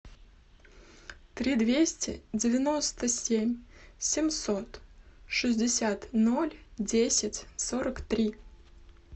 три двести девяносто семь семьсот шестьдесят ноль десять сорок три